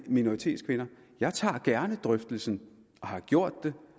minoritetskvinder jeg tager gerne en drøftelse og har gjort det